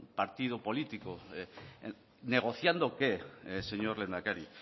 partido político negociando qué señor lehendakari